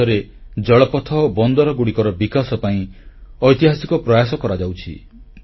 ଆଜି ଦେଶରେ ଜଳପଥ ଓ ବନ୍ଦରଗୁଡ଼ିକର ବିକାଶ ପାଇଁ ଐତିହାସିକ ପ୍ରୟାସ କରାଯାଉଛି